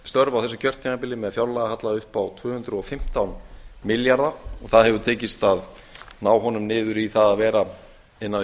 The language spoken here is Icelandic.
á þessu kjörtímabili með fjárlagahalla upp á tvö hundruð og fimmtán milljarða það hefur tekist að ná honum niður í það að vera innan við